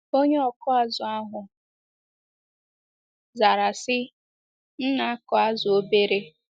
Onye ọkụ azụ̀ ahụ zara sị, “M na - akụ azụ̀ obere.